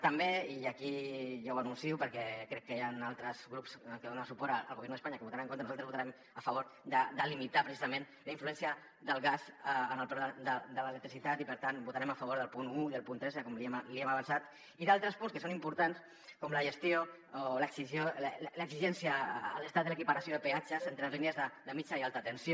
també i aquí ja ho anuncio perquè crec que hi han altres grups que donen suport al gobierno de españa que hi votaran en contra nosaltres votarem a favor de limitar precisament la influència del gas en el preu de l’electricitat i per tant votarem a favor del punt un i del punt tres com l’hi hem avançat i d’altres punts que són importants com la gestió o l’exigència a l’estat de l’equiparació de peatges entre línies de mitjana i alta tensió